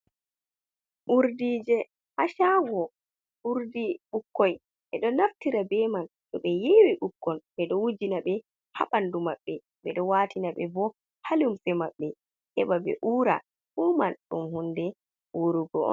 Urdije ha shago wurdi ɓukkoi ɓe do naftira be man to be yewi ɓukkon ɓe do wujina ɓe ha bandu maɓɓe ɓedo watina ɓe bo halumse maɓɓe heba be ura fu man ɗum hunde urugo.